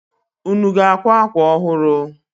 Unu ga-akwa akwa ọhụrụ?